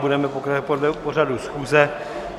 Budeme pokračovat podle pořadu schůze.